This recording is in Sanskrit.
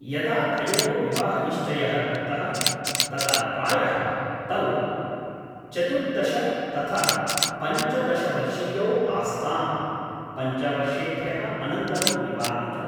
यदा तयोः विवाहनिश्चयः कृतः तदा प्रायः तौ चतुर्दश तथा पञ्चदश वर्षीयौ आस्ताम्, पञ्चवर्षेभ्यः अनन्तरं विवाहितौ।